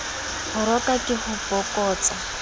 ho roka ke ho bokotsa